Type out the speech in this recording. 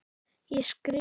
Ég skrifa.